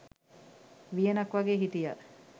වියනක් වගේ හිටියා.